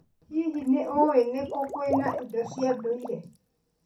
Hihi, nĩ ũĩ nĩ kũ kwĩna indo cia ndũire?